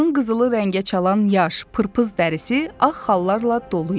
Onun qızılı rəngə çalan yaş, pırpız dərisi ağ xallarla dolu idi.